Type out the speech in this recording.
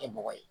Kɛ bɔgɔ ye